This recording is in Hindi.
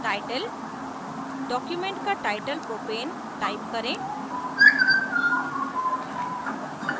titledocument का टाइटल प्रोपेन propane type करें